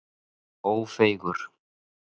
Ófeigur